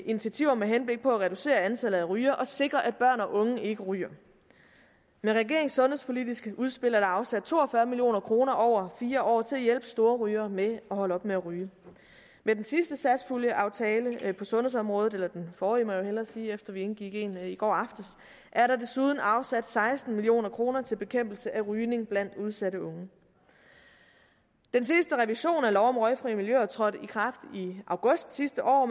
initiativer med henblik på at reducere antallet af rygere og sikre at børn og unge ikke ryger med regeringens sundhedspolitiske udspil er der afsat to og fyrre million kroner over fire år til at hjælpe storrygere med at holde op med at ryge med den sidste satspuljeaftale på sundhedsområdet eller den forrige må jeg jo hellere sige efter at vi indgik en i går aftes er der desuden afsat seksten million kroner til bekæmpelse af rygning blandt udsatte unge den seneste revision af lov om røgfri miljøer trådte i kraft i august sidste år